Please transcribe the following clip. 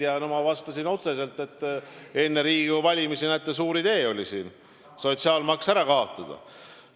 Ma vastasin otseselt, et enne Riigikogu valimisi näete, oli suur idee sotsiaalmaks ära kaotada.